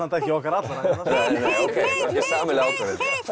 ekki okkar allra þetta var sameiginleg ákvörðun